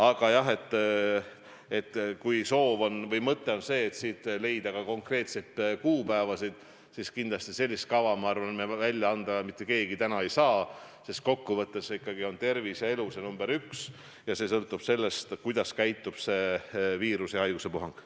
Aga jah, kui soov või mõte on see, et leida siit ka konkreetseid kuupäevasid, siis kindlasti sellist kava, ma arvan, välja anda mitte keegi täna ei saa, sest kokkuvõttes on ikkagi tervis ja elu see number üks ning see sõltub sellest, kuidas käitub see viirus ja haiguspuhang.